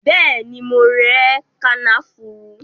Bẹẹni, mo rẹ kànáfùrú